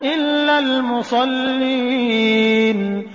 إِلَّا الْمُصَلِّينَ